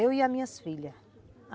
Eu e as minhas filhas.